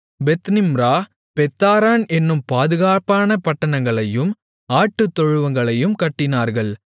Beth Nimrah Beth Haran என்னும் பாதுகாப்பான பட்டணங்களையும் ஆட்டுத்தொழுவங்களையும் கட்டினார்கள்